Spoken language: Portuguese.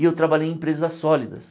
E eu trabalhei em empresas sólidas.